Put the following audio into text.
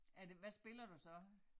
Er det hvad spiller du så